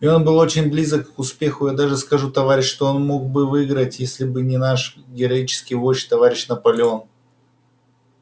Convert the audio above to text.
и он был очень близок к успеху я даже скажу товарищи что он мог бы выиграть если бы не наш героический вождь товарищ наполеон